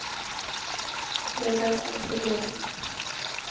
Det är det som är problemet.